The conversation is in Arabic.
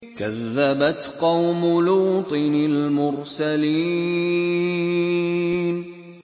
كَذَّبَتْ قَوْمُ لُوطٍ الْمُرْسَلِينَ